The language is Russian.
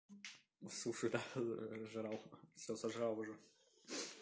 суши да жрал всё сожрал уже